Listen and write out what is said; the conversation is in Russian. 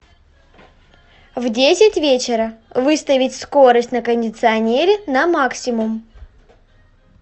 в десять вечера выставить скорость на кондиционере на максимум